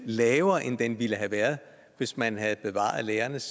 lavere end den ville have været hvis man havde bevaret lærernes